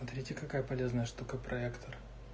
смотрите какая полезная штука проектор